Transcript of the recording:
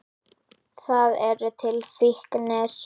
Það eru til fíknir.